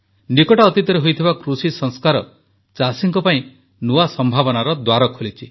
ନିକଟ ଅତୀତରେ ହୋଇଥିବା କୃଷି ସଂସ୍କାର ଚାଷୀଙ୍କ ପାଇଁ ନୂଆ ସଂଭାବନାର ଦ୍ୱାର ଖୋଲିଛି